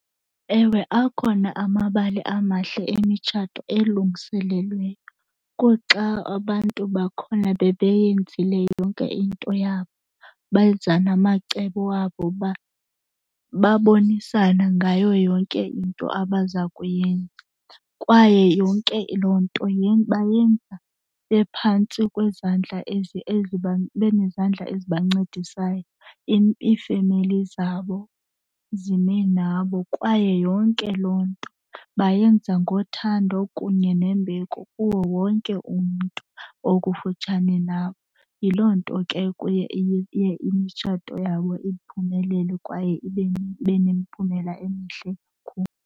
Ewe, akhona amabali amahle emitshato elungiselelweyo. Kuxa abantu bakhona bebeyenzile yonke into yabo benza namacebo wabo uba babonisana ngayo yonke into abaza kuyenza. Kwaye yonke loo nto bayenza bephantsi kwezandla benezandla ezibancedisayo, iifemeli zabo zime nabo kwaye yonke loo nto bayenza ngothando kunye nembeko kuwo wonke umntu okufutshane nabo. Yiloo nto ke kuye iye imitshato yabo iphumelele kwaye ibe nemiphumela emihle .